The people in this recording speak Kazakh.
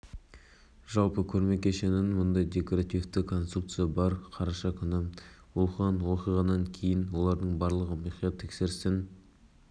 декоративтік конструкцияның жобалауында қателер кеткен бұл тек осы құрылым конструкциясының жобалауында кеткен қателіктер жобалауды жүзеге